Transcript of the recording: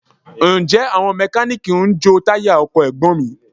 Ǹjẹ́ àwọn Mẹkáníìkì ń jo táyà ọkọ̀ Ẹ̀gbọ́n mi?